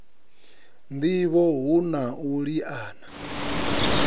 ndivho hu na u liana